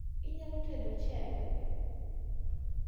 Inyalo tedo ochele?